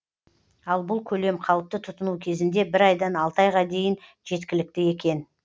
ал бұл көлем қалыпты тұтыну кезінде бір айдан алты айға дейін жеткілікті екен